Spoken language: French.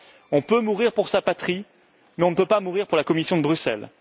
On peut mourir pour sa patrie, mais on ne peut pas mourir pour la Commission de Bruxelles.